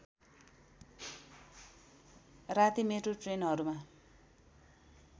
राति मेट्रो ट्रेनहरूमा